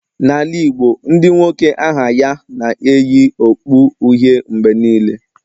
Na ala Igbo Ndị nwoke aha ya na-eyi okpu uhie mgbe niile